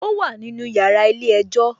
Ó wà nínú yàrá ilé-ẹjọ́